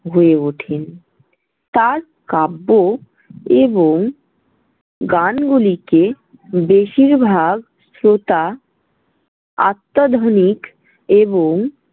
হয়ে ওঠেন। তাঁর কাব্য এবং গানগুলিকে বেশিরভাগ শ্রোতা আত্তাধুনিক এবং।